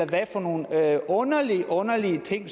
hvad for nogle underlige underlige ting